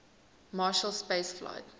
marshall space flight